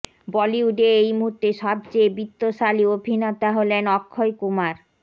বলিউডে এই মুহূর্তে সবচেয়ে বিত্তশালী অভিনেতা হলেন অক্ষয় কুমার